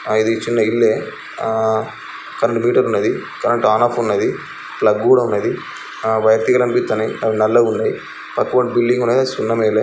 ఆ ఇది చిన్న ఇల్లే. ఆ కరెంట్ మీటర్ ఉన్నది. కరెంట్ ఆన్ ఆఫ్ ఉన్నది. ప్లగ్ కూడా ఉన్నది. వైరు తీగలు కనిపిత్తనాయి. అవి నల్లగున్నాయి. పక్క పొంటి బిల్డింగ్ ఉన్నది. కానీ సున్నమెయ్యలే.